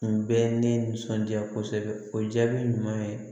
Kun bɛ ne nisɔndiya kosɛbɛ o jaabi ɲuman ye